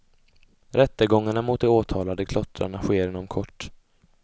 Rättegångarna mot de åtalade klottrarna sker inom kort.